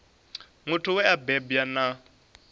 muthu we a bebwa na